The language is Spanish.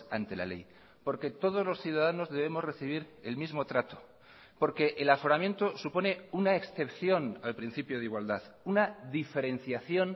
ante la ley porque todos los ciudadanos debemos recibir el mismo trato porque el aforamiento supone una excepción al principio de igualdad una diferenciación